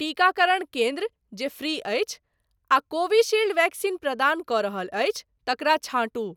टीकाकरण केन्द्र जे फ्री अछि आ कोविशील्ड वैक्सीन प्रदान कऽ रहल अछि तकरा छाँटू।